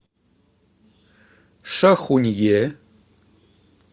шахунье